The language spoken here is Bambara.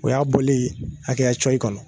O y'a boli ye haya coyi kɔnɔ